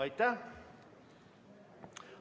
Aitäh!